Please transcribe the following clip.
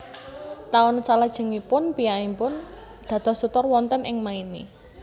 Taun salajengipun piyambakipun dados tutor wonten ing Maine